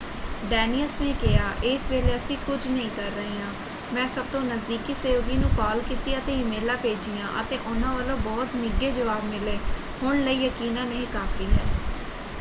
ਡੇਨਿਅਸ ਨੇ ਕਿਹਾ ਇਸ ਵੇਲੇ ਅਸੀਂ ਕੁਝ ਨਹੀਂ ਕਰ ਰਹੇ ਹਾਂ। ਮੈਂ ਸਭ ਤੋਂ ਨਜ਼ਦੀਕੀ ਸਹਿਯੋਗੀ ਨੂੰ ਕਾਲ ਕੀਤੀ ਅਤੇ ਈਮੇਲਾਂ ਭੇਜੀਆਂ ਅਤੇ ਉਹਨਾਂ ਵਲੋਂ ਬਹੁਤ ਨਿੱਘੇ ਜਵਾਬ ਮਿਲੇ। ਹੁਣ ਲਈ ਯਕੀਨਨ ਇਹ ਕਾਫ਼ੀ ਹੈ।